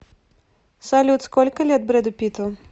салют сколько лет брэду питту